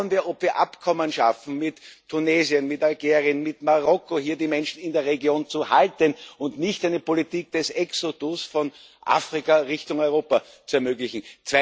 Schauen wir, ob wir Abkommen schaffen mit Tunesien, mit Algerien, mit Marokko, um hier die Menschen in der Region zu halten und nicht eine Politik des Exodus von Afrika Richtung Europa zu ermöglichen.